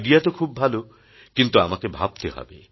IDEA তো খুব ভাল কিন্তু আমাকে ভাবতে হবে